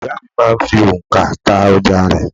Ìyá à mi máa ń fi ònkà ta ọjà rẹ̀